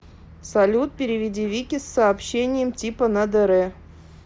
салют переведи вике с сообщением типа на др